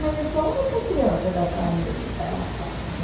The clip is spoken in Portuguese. Mas eu sou a única criança da família, ela fala né.